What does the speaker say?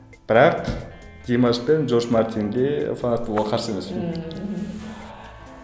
бірақ димаш пен джордж мартинге фанат болуға қарсы емеспін ммм мхм